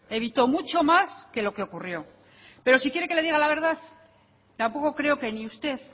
evitó mucho más que lo que ocurrió pero si quiere que le diga la verdad tampoco creo que ni usted